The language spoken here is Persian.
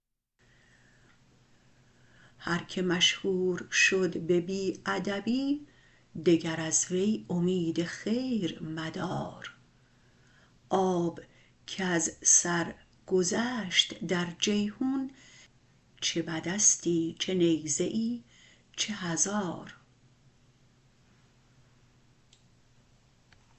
هر که مشهور شد به بی ادبی دگر از وی امید خیر مدار آب کز سر گذشت در جیحون چه بدستی چه نیزه ای چه هزار